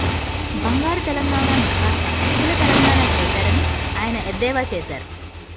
బంగారు తెలంగాణ ను కాస్త అప్పుల తెలంగాణ చేసారని ఆయన ఎద్దవా చేసారు